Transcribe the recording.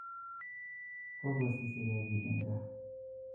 Kokosisike biik eng gaa